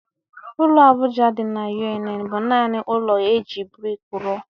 Ụlọ Abuja dị na UNN bụ naanị ụlọ e ji brik rụọ